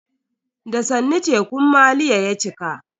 Da sannu tekun maliya ya cika.